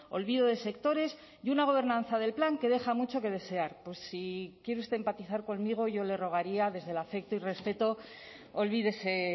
olvido de sectores y una gobernanza del plan que deja mucho que desear si quiere usted empatizar conmigo yo le rogaría desde el afecto y respeto olvídese